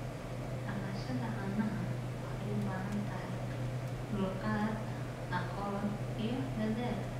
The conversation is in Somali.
Dhaqashada caanaha waxay u baahan tahay dulqaad, aqoon, iyo dadaal.